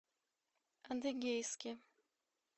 адыгейске